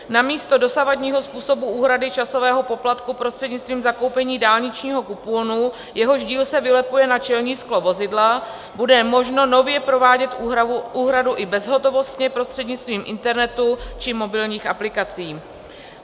Namísto dosavadního způsobu úhrady časového poplatku prostřednictvím zakoupení dálničního kuponu, jehož díl se vylepuje na čelní sklo vozidla, bude možno nově provádět úhradu i bezhotovostně prostřednictvím internetu či mobilních aplikací.